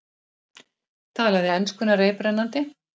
Talaði enskuna reiprennandi.